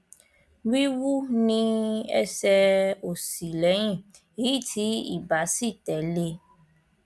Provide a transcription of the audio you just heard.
wíwú ní ẹsẹ òsì lẹyìn èyí tí ibà sì tẹlé e